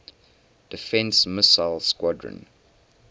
defense missile squadron